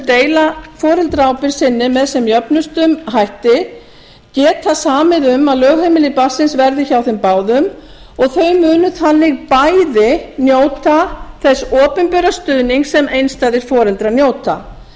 deila foreldraábyrgð sinni með sem jöfnustum hætti geta samið um að lögheimili barnsins verði hjá þeim báðum og þau munu þannig bæði njóta þess opinbera stuðnings sem einstæðir foreldrar njóta